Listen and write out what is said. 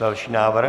Další návrh.